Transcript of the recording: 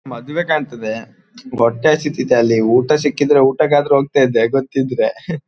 ಮದುವೆ ಕಾಣ್ತದೆ ಹೊಟ್ಟೆ ಹಸಿತಿದೆ ಅಲ್ಲಿ ಊಟ ಸಿಕ್ಕಿದ್ರೆ ಊಟಕ್ಕಾದ್ರು ಹೋಗ್ತಿದ್ದೆ ಗೊತ್ತಿದ್ರೆ .]